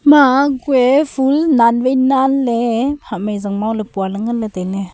ema kue phul nan wai nan ley pua ley tai ley.